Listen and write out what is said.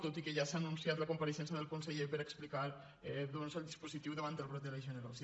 tot i que ja s’ha anunciat la compareixença del conseller per a explicar el dispositiu davant del brot de legionel·losi